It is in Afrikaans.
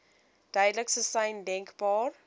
duidelikste sein denkbaar